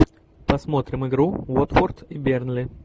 посмотрим игру уотфорд и бернли